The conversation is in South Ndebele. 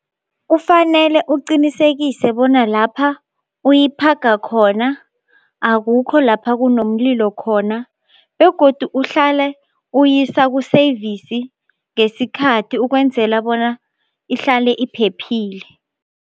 Kufanele uqinisekise bona lapha uyiphaga khona akukho lapha kunomlilo khona begodu uhlale uyisa ku-service ngesikhathi ukwenzela bona ihlale iphephile.